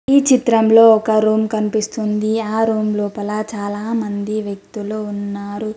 ఈ చిత్రంలో ఒక రూమ్ కనిపిస్తుంది ఆ రూమ్ లోపల చాలా మంది వ్యక్తులు ఉన్నారు.